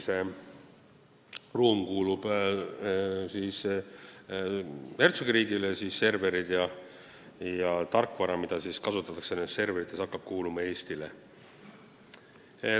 See ruum kuulub hertsogiriigile, aga serverid ja tarkvara, mida nendes serverites kasutatakse, hakkab kuuluma Eestile.